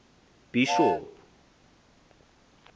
bhishop